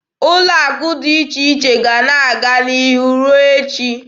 Ụlọ akụ dị iche iche ga-ana aga n'ihu ruo echi.